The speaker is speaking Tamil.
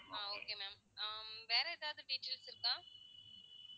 ஆஹ் okay ma'am ஆஹ் வேற எதாவது features இருக்கா